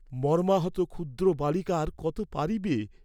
মর্ম্মাহত ক্ষুদ্র বালিকা আর কত পারিবে?